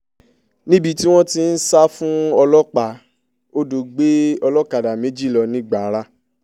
níbi tí wọ́n ti ń sá fún ọlọ́pàá odò gbé olókàdá méjì lọ nìgbára